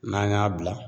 N'an y'a bila